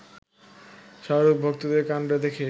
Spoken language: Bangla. শাহরুখ ভক্তদের কাণ্ড দেখে